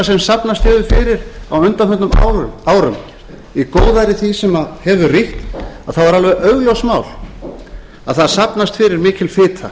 sem safnast hefur fyrir á undanförnum árum í góðæri því sem hefur ríkt þá er alveg augljóst mál að það safnast fyrir mikil fita